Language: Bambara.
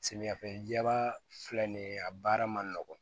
Samiyɛ fɛla filɛ nin ye a baara ma nɔgɔn